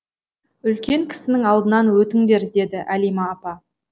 үлкен кісінің алдынан өтіңдер деді әлима апа